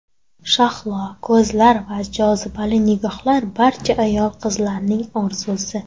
Shahlo ko‘zlar va jozibali nigohlar barcha ayol-qizlarning orzusi.